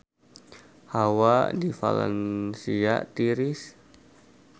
Hawa di Valencia tiris